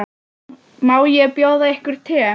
Má bjóða yður te?